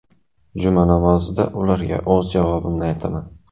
Juma namozida ularga o‘z javobimni aytaman.